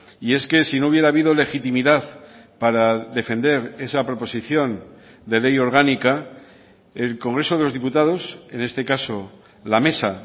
y es que si no hubiera habido legitimidad para defender esa proposición de ley orgánica el congreso de los diputados en este caso la mesa